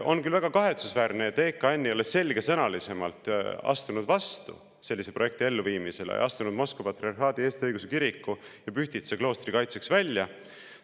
On küll väga kahetsusväärne, et EKN ei ole selgesõnalisemalt astunud vastu sellise projekti elluviimisele, astunud Moskva Patriarhaadi Eesti Õigeusu Kiriku ja Pühtitsa kloostri kaitseks välja.